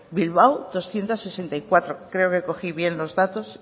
bilbao doscientos sesenta y cuatro creo que cogí bien los datos